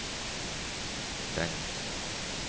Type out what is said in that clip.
stengt